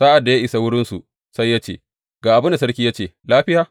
Sa’ad da ya isa wurinsu sai ya ce, Ga abin da sarki ya ce, Lafiya?’